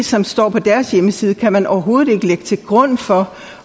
som står på deres hjemmeside kan man overhovedet ikke lægge til grund for